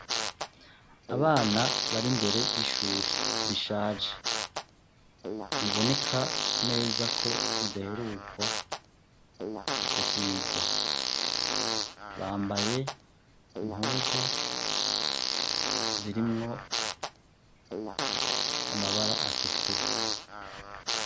abana bari mbere y'ishuri rishaje riboneka neza ko ridaherukwa gusigwa bambaye impuzu zirimwo amabara atukura